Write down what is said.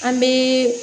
An bɛ